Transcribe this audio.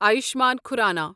Ayushman Khurrana